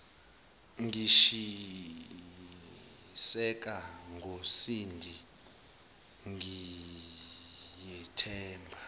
ngishiseka ngosindi ngiyethemba